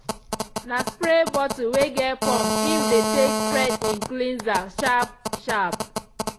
na spray bottle wey get pump im de take spread im cleanser sharp- sharp.